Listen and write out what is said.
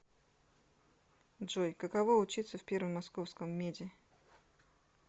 джой каково учиться в первом московском меде